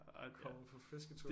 Er kommet på fisketur